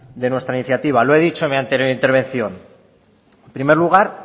de nuestra iniciativa lo he dicho en mi anterior intervención en primer lugar